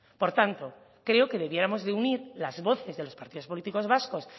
por tanto creo que debiéramos de unir las voces de los partidos políticos vascos